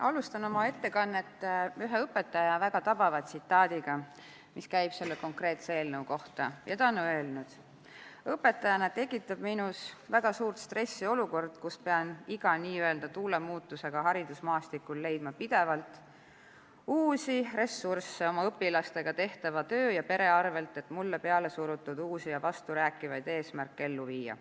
Alustan oma ettekannet ühe õpetaja väga tabava tsitaadiga, mis käib selle konkreetse eelnõu kohta ja ta on öelnud: "Õpetajana tekitab minus väga suurt stressi olukord, kus pean iga n-ö tuule muutusega haridusmaastikul leidma pidevalt uusi ressursse oma õpilastega tehtava töö ja pere arvelt, et mulle peale surutud uusi ja vasturääkivaid eesmärke ellu viia.